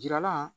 Jirala